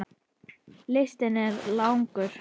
Listinn er langur.